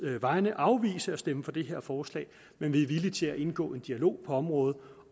vegne afvise at stemme for det her forslag men vi er villige til at indgå i en dialog på området